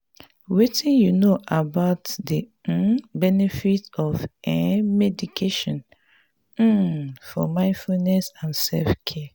wetin you know about di um benefits of um meditation um for mindfulness and self-care?